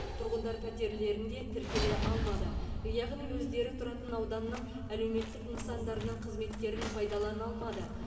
тұрғындар пәтерлерінде тіркеле алмады яғни өздері тұратын ауданның әлеуметтік нысандарының қызметтерін пайдалана алмады